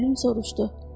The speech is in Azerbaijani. Plüm soruşdu: